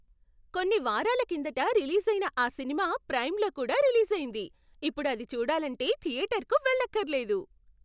కొన్ని వారాల కిందట రిలీజైన ఆ సినిమా ప్రైమ్లో కూడా రిలీజైంది! ఇప్పుడు అది చూడాలంటే థియేటర్కి వెళ్లక్కర్లేదు!